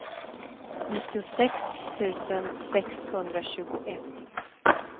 nittiosex tusen sexhundratjugoett